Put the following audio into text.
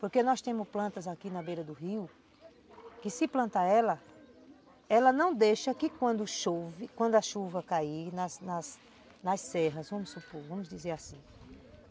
Porque nós temos plantas aqui na beira do rio, que se plantar ela, ela não deixa que quando chove, quando a chuva cair nas serras, vamos supor, vamos dizer assim.